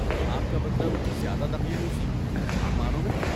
آپ کا مطلب زیادہ دقیانوسی ، عام معنوں میں؟